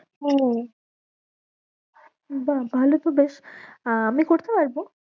ও বাঃ ভালো তো বেশ আহ আমি করতে পারবো?